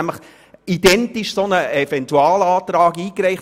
Er hat nämlich einen identischen Eventualantrag eingereicht.